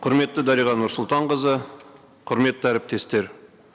құрметті дариға нұрсұлтанқызы құрметті әріптестер